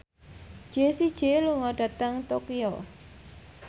Jessie J lunga dhateng Tokyo